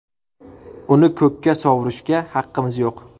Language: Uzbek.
Uni ko‘kka sovurishga haqqimiz yo‘q.